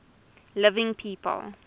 living people